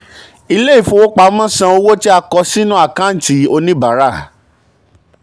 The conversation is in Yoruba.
ilé ìfowopamọ́ san owó tí a kọ sínú àkántì oníbàárà.